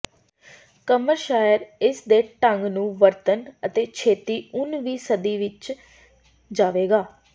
ਕਮਰ ਸ਼ਾਇਰ ਇਸ ਦੇ ਢੰਗ ਨੂੰ ਵਰਤਣ ਅਤੇ ਛੇਤੀ ਉਨ ਵੀ ਸਦੀ ਵਿੱਚ ਜਾਵੇਗਾ